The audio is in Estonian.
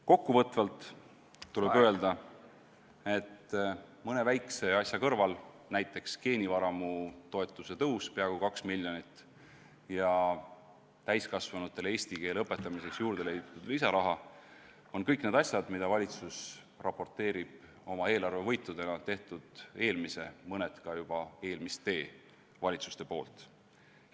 Kokkuvõtvalt tuleb öelda, et mõne väikse asja kõrval, näiteks geenivaramu toetuse tõus peaaegu 2 miljonit ja täiskasvanutele eesti keele õpetamiseks leitud lisaraha, on kõik need asjad, mida valitsus raporteerib oma eelarvevõitudena, tehtud eelmise, mõned ka juba eelmiste valitsuste poolt.